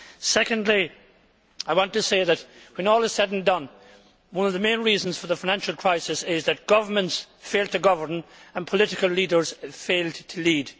Secondly, I want to say that, when all is said and done, one of the main reasons for the financial crisis is that governments failed to govern and political leaders failed to lead.